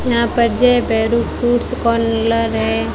यहां पर Jai Bhairu fruits corner है।